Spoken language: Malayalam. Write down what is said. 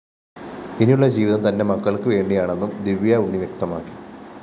ഇനിയുള്ള ജീവിതം തന്റെ മക്കള്‍ക്ക് വേണ്ടിയാണെന്നും ദിവ്യാ ഉണ്ണി വ്യക്തമാക്കി